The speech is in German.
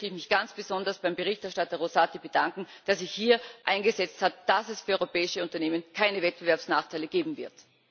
Hier möchte ich mich ganz besonders bei Berichterstatter Rosati bedanken, dass er sich hier dafür eingesetzt hat, dass es für europäische Unternehmen keine Wettbewerbsnachteile geben wird.